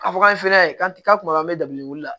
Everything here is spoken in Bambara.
A fɔ k'an finɛ ye k'an ti ka kuma an bɛ dabilen wolo